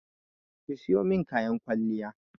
Ki sayo min kayan kwalliya!